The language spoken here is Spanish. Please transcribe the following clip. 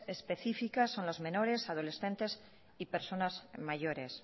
específicas son los menores adolescentes y personas mayores